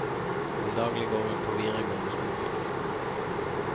Til daglig går hun på videregående skole.